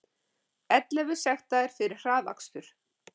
Ellefu sektaðir fyrir hraðakstur